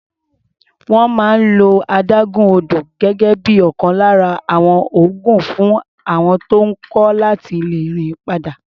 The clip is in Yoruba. Wọ́n máa ń lo adágún odò gẹ́gẹ́ bí ọ̀kan lára àwọn oògùn fún àọn tó ń kọ́ láti lè rìn padà.